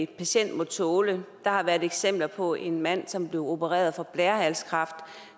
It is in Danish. patient må tåle der har været eksempler på en mand som blev opereret for blærehalskræft